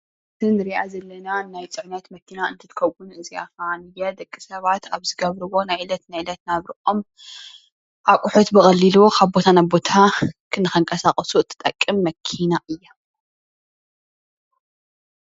እዚ ንሪአ ዘለና ናይ ፅዕነት መኪና እንትትከውን እዚአ ከዓ ደቂ ሰባት አብ ዝገብርዎ ናይ ዕለት ዕለት ናብርኦም እቁሑት ብቀሊሉ ካብ ቦታ ናብ ቦታ ንክንቀሳቀሱ ትጠቅም መኪና እያ።